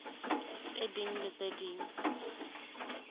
tse ding le tse ding